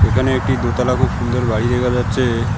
এখানে একটি দোতলা খুব সুন্দর বাড়ি দেখা যাচ্ছে।